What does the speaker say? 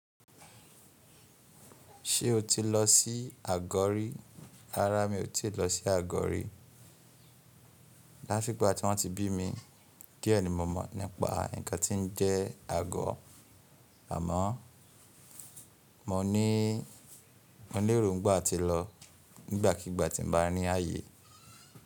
Ṣé o ti lọ sí àgọ́ rí? Rárá, mi ò tíì lọ sí àgọ́ rí. Látigba tí wọ́n ti bí mi díẹ ni mọ̀ mọ̀ nípa ǹkan tí ń jẹ́ àgọ́. Àmọ́ mo ní, mo lérò ńgbà atí lọ nígbàkigbà tí n bá ní ayé.